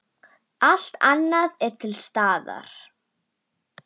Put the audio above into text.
Allt annað er til staðar.